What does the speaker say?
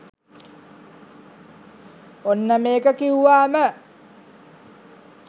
ඔන්න මේක කිවුවාම